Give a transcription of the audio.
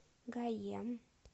гаем